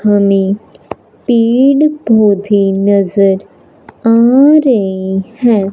हमें तीन कुएथीन नज़र आ रहे हैं।